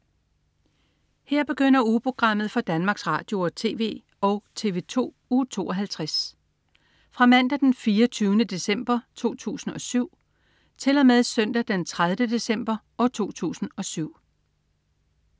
Her begynder ugeprogrammet for Danmarks Radio- og TV og TV2 Uge 52 Fra Mandag den 24. december 2007 Til Søndag den 30. december 2007